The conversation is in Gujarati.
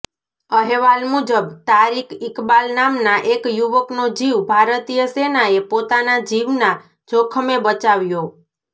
અહેવાલ મુજબ તારીક ઇકબાલ નામના એક યુવકનો જીવ ભારતીય સેનાએ પોતાના જીવના જોખમે બચાવ્યો